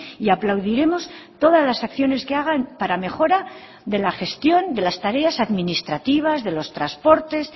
y aplaudiremos todas las acciones que hagan para mejora de la gestión de las tareas administrativas de los transportes